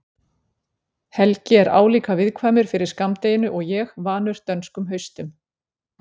Helgi er álíka viðkvæmur fyrir skammdeginu og ég, vanur dönskum haustum.